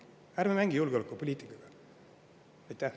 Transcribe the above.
Ärme mängime julgeolekupoliitikaga!